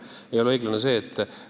Ei ole õiglane!